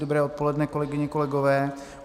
Dobré odpoledne, kolegyně, kolegové.